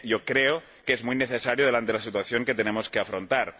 Yo creo que es muy necesario habida cuenta de la situación que tenemos que afrontar.